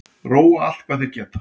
Róa allt hvað þeir geta